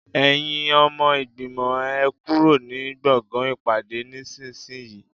Ẹ̀yin ọmọ ìgbìmọ̀, ẹ kúrò ní gbọ̀ngàn ìpàdé nísinsìnyí